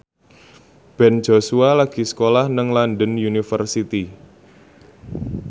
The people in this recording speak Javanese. Ben Joshua lagi sekolah nang London University